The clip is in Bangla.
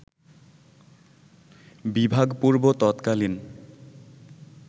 বিভাগপূর্ব ততকালীন